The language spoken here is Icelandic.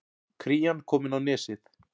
Krían komin á Nesið